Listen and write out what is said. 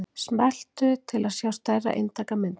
Smelltu til að sjá stærra eintak af myndinni.